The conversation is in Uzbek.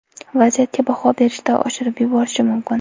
Vaziyatga baho berishda oshirib yuborishi mumkin.